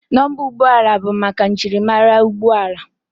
Nọmba ụgbọala bụ maka njirimara ụgbọala